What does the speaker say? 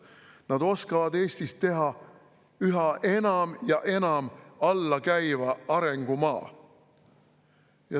Nad oskavad Eestist teha üha enam ja enam alla käiva arengumaa.